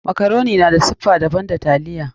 Makaroni na da siffa daban da taliya.